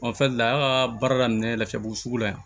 Ɔ fɛn la an ka baara daminɛ lafiyabugu sugu la yan